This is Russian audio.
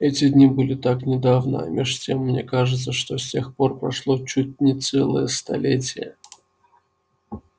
эти дни были так недавно а меж тем мне кажется что с тех пор прошло чуть не целое столетие